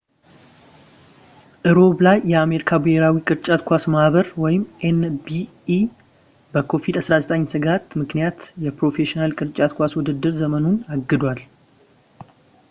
ረቡዕ ላይ፣ የአሜሪካ ብሄራዊ የቅርጫት ኳስ ማህበር ኤን.ቢ.ኤ በኮቪድ-19 ስጋት ምክንያት የፕሮፌሽናል የቅርጫት ኳስ ውድድር ዘመኑን አግዷል